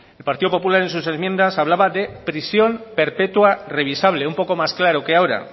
el partido popular en sus enmiendas hablaba de prisión perpetua revisable un poco más claro que ahora